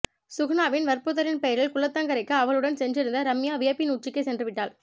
சுகுணாவின் வற்புறுத்தலின் பெயரில் குளத்தங்கரைக்கு அவளுடன் சென்றிருந்த ரம்யா வியப்பின் உச்சிக்கே சென்றுவிட்டாள்